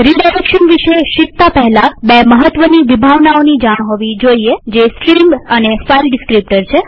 redirection વિશે શીખતા પહેલા આપણને બે મહત્વની વિભાવનાઓની જાણ હોવી જોઈએજે છે સ્ટ્રીમ અને ફાઈલ ડીસ્ક્રીપ્ટર